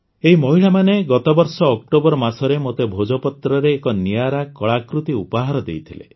ଏହି ମହିଳାମାନେ ଗତବର୍ଷ ଅକ୍ଟୋବର ମାସରେ ମୋତେ ଭୋଜପତ୍ରରେ ଏକ ନିଆରା କଳାକୃତି ଉପହାର ଦେଇଥିଲେ